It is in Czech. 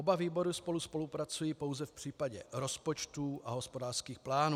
Oba výbory spolu spolupracují pouze v případě rozpočtů a hospodářských plánů.